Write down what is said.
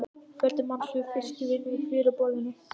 Fjöldi manns var við fiskvinnu í fjöruborðinu.